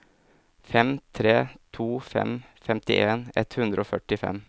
fem tre to fem femtien ett hundre og førtifem